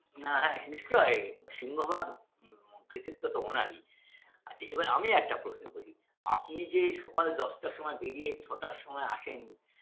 না হ্যা নিশ্চয়ই সিংহভাগ উম কৃতিত্ব তো ওনারই আচ্ছা এবার আমি একটা প্রশ্ন করি আপনি যে সকাল দশটার সময় বেরিয়ে ছটার সময় আসেন